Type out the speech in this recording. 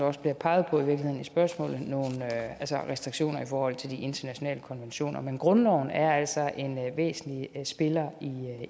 også bliver peget på i spørgsmålet nogle restriktioner i forhold til de internationale konventioner men grundloven er altså en væsentlig spiller